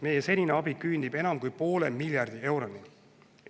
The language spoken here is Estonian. Meie senine abi küündib enam kui poole miljardi euroni.